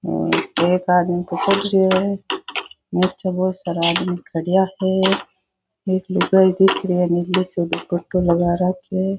और एक आदमी तो चढ़ रियो है और बहोत सारा आदमी खड़िया है एक लुगाई दिख री है नीली सो डुपट्टो लगा राख्यो है।